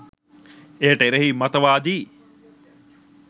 එයට එරෙහි මතවාදී